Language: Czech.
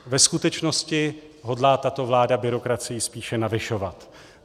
Ve skutečnosti hodlá tato vláda byrokracii spíše navyšovat.